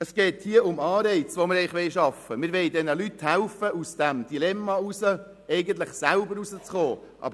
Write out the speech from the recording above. Wir wollen hier Anreize schaffen und diesen Leuten helfen, selber wieder aus diesem Dilemma herauszukommen.